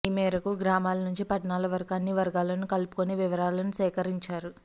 ఈమేరకు గ్రామాల నుంచి పట్టణాల వరకు అన్ని వర్గాలను కలుసుకొని వివరాలు సేకరించారు